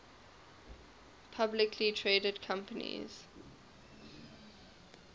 publicly traded companies